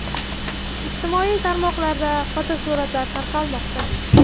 Ijtimoiy tarmoqlarda fotosuratlar tarqalmoqda.